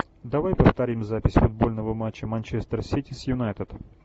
давай повторим запись футбольного матча манчестер сити с юнайтед